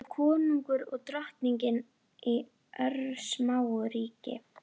Nikka en útsýnið yfir Austurvöll heillaði hana þó meira.